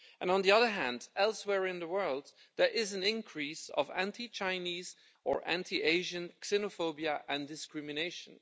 On the other hand, elsewhere in the world there is an increase in anti Chinese or anti Asian xenophobia and discrimination.